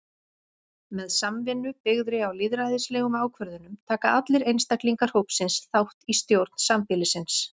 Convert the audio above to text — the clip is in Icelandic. Með samvinnu byggðri á lýðræðislegum ákvörðunum taka allir einstaklingar hópsins þátt í stjórn sambýlisins.